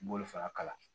B'olu fana kala